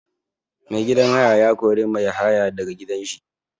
Mai gidan haya ya kori mai haya da ga gidan shi.